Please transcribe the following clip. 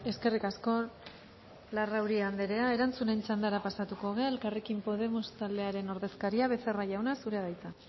eskerrik asko larrauri anderea erantzunen txandara pasatuko dugu elkarrekin podemos taldearen ordezkaria becerra jauna zurea da hitza